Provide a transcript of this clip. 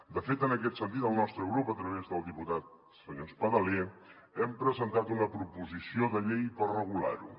de fet en aquest sentit el nostre grup a través del diputat senyor espadaler hem presentat una proposició de llei per regular ho